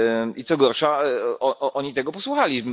I co gorsza, oni tego posłuchali.